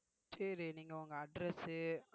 சரி நீங்க உங்க address உ